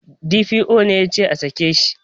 D.P.O ne yace a sake shi